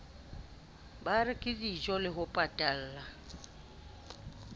ba reke dijole ho patalla